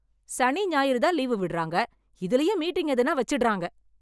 சனி, ஞாயிறு தான் லீவு விடறாங்க இதுலயும் மீட்டிங் எதுனா வச்சிட்டாரங்க